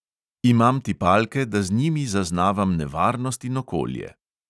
Imam tipalke, da z njimi zaznavam nevarnost in okolje.